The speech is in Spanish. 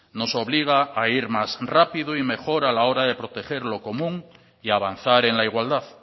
nos obliga a ir más rápido y mejor a la hora de proteger lo común y avanzar en la igualdad